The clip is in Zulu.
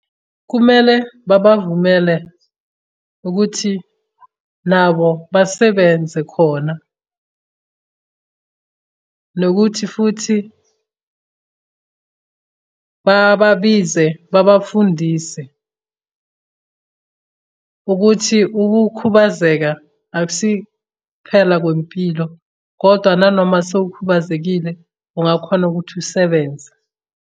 Kumele babavumele ukuthi nabo basebenze khona , nokuthi futhi bababize babafundise. Ukuthi ukukhubazeka akusi phela kwempilo kodwa nanoma sewukhubazekile, ungakhona ukuthi usebenze.